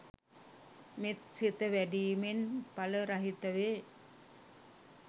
මෙත් සිත වැඩීමෙන් ඵල රහිත වේ.